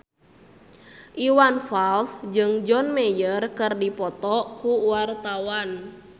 Iwan Fals jeung John Mayer keur dipoto ku wartawan